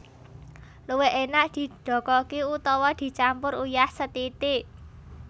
Luwih enak didokoki utawi dicampur uyah sethithik